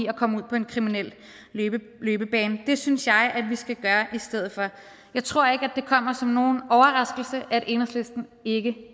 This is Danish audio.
at komme ud på en kriminel løbebane og det synes jeg at vi skal gøre i stedet for jeg tror ikke at det kommer som nogen overraskelse at enhedslisten ikke